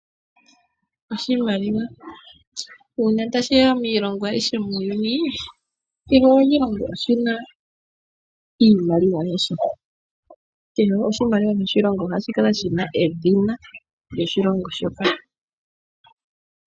Oshimaliwa uuna tashiya miilongo ayihe muuyuni kehe oshilongo ohashi kala shina iimaliwa yasho. Kehe oshimaliwa moshilongo ohashi kala shina edhina lyoshilongo shoka.